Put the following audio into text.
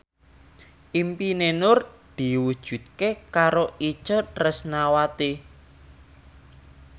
impine Nur diwujudke karo Itje Tresnawati